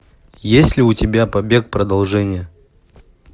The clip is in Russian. есть ли у тебя побег продолжение